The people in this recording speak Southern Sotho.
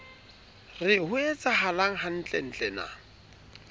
re ho etsahalang hantlentle na